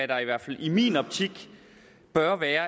der i hvert fald i min optik bør være